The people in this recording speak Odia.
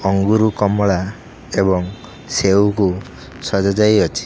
ଅଙ୍ଗୁରୁ କମଳା ଏବଂ ସେଉକୁ ସଜାଯାଇ ଅଛି।